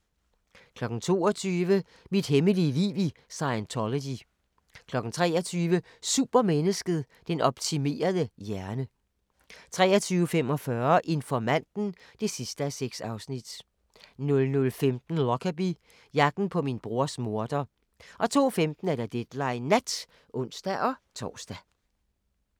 22:00: Mit hemmelige liv i Scientology 23:00: Supermennesket: Den optimerede hjerne 23:45: Informanten (6:6) 00:45: Lockerbie – jagten på min brors morder 02:15: Deadline Nat (ons-tor)